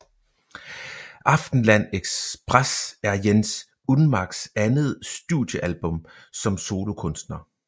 Aftenland Express er Jens Unmacks andet studiealbum som solokunstner